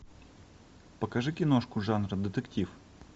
покажи киношку жанра детектив